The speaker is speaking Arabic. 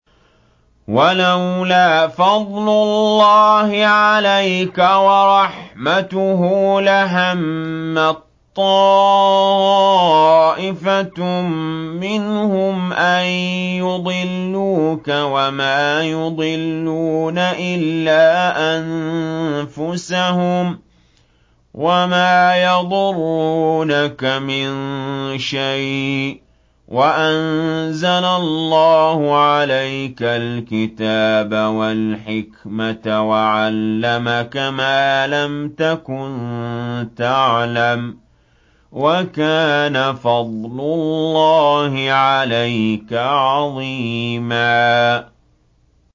وَلَوْلَا فَضْلُ اللَّهِ عَلَيْكَ وَرَحْمَتُهُ لَهَمَّت طَّائِفَةٌ مِّنْهُمْ أَن يُضِلُّوكَ وَمَا يُضِلُّونَ إِلَّا أَنفُسَهُمْ ۖ وَمَا يَضُرُّونَكَ مِن شَيْءٍ ۚ وَأَنزَلَ اللَّهُ عَلَيْكَ الْكِتَابَ وَالْحِكْمَةَ وَعَلَّمَكَ مَا لَمْ تَكُن تَعْلَمُ ۚ وَكَانَ فَضْلُ اللَّهِ عَلَيْكَ عَظِيمًا